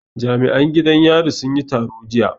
Jami'an gidan yari sun yi taro jiya